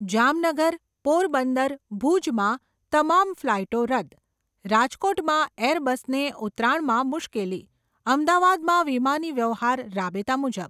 જામનગર, પોરબંદર, ભૂજમાં તમામ ફ્લાઈટો રદ્દ, રાજકોટમાં એરબસને ઉતરાણમાં મૂશ્કેલી, અમદાવાદમાં વિમાની વ્યવહાર રાબેતા મુજબ.